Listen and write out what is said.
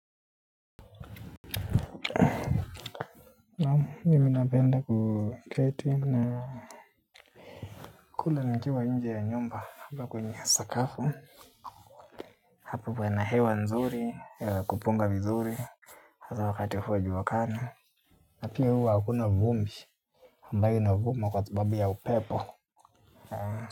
Mimi napenda kuketi na kula nikiwa nje ya nyumba hapa kwenye sakafu hapa pana hewa nzuri ya kupunga vizuri hasa wakati huu wa jua kali na pia huwa hakuna vumbi ambayo inavuma kwa sababu ya upepo.